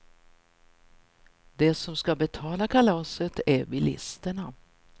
De som ska betala kalaset är bilisterna.